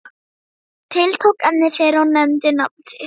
Tiltók efni þeirra og nefndi nafn þitt.